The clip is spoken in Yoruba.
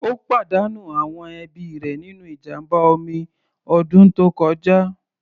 Ó pàdánù àwọn ẹbí rẹ̀ nínú ìjàmbá omi ọdún tó kọjá.